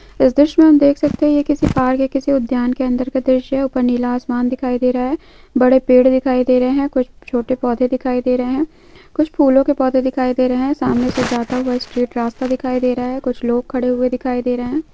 इस दॄश्य मे हम देख सकते है के किसी पहाड़ के किसी उद्यान के अंदर का दॄश्य है ऊपर नीला आसमान दिखाई दे रहा है बड़े पेड़ दिखाई दे रहे है कुछ छोटे पौधे दिखाई दे रहे है कुछ फूलों के पौधे दिखाई दे रहे है सामने से जाता हुआ स्ट्रेट रास्ता दिखाई दे रहा है कुछ लोग खड़े हुए दिखाई दे रहे है।